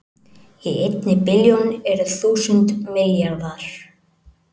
Í einni billjón eru þúsund milljarðar